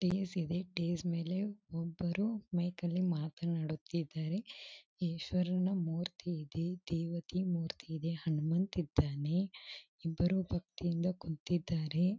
ಟೆಸ್ ಇದೆ ಟೆಸ್ ಮೇಲೆ ಒಬ್ಬರು ಮೈಕಲ್ಲಿ ಮಾತನಾಡುತ್ತಿದ್ದಾರೆ ಈಶ್ವರನ ಮೂರ್ತಿ ಇದೆ ದೇವತಿ ಮೂರ್ತಿ ಇದೆ ಹನುಮಂತ್ ಇದ್ದಾನೆ ಇಬ್ಬರೂ ಭಕ್ತಿಯಿಂದ ಕುಂತಿದ್ದಾರೆ.